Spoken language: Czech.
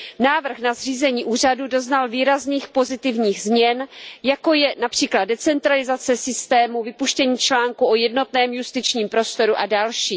Návrh na zřízení úřadu doznal výrazných pozitivních změn, jako je například decentralizace systému, vypuštění článku o jednotném justičním prostoru a další.